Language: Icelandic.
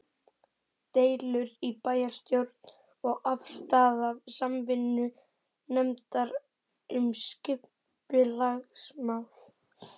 Deilur í bæjarstjórn og afstaða Samvinnunefndar um skipulagsmál